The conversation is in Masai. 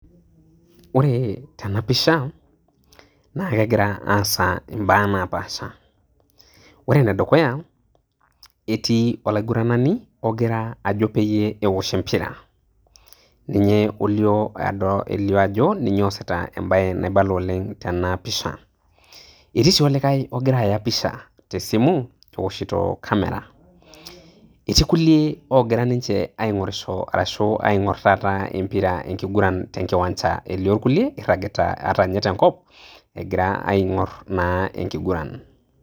ore tena picha na kegira asa imba napaasha, ore ene dukuya eti olaigurani ongira ajo pee eosh empira. ninye olio ado ajo ninye oasita embae naibala oleng tenapisha eti si olikae, ongira aya pisha tesimu eoshito camera, eti kulie ogira ninche aing'orisho, arashu aing'or tata empira enkiguran tenkiwanja, elio kulie iragita ata ninye tenkop egira aing'orr na enkiguran.